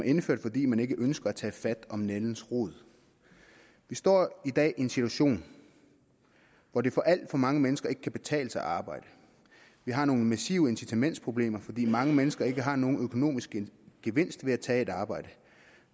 indført fordi man ikke ønsker at tage fat om nældens rod vi står i dag i en situation hvor det for alt for mange mennesker ikke kan betale sig at arbejde vi har nogle massive incitamentsproblemer fordi mange mennesker ikke har nogen økonomisk gevinst ved at tage et arbejde